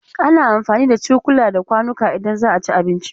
Ana amfani da cukula da kwanuka idan za a ci abinci.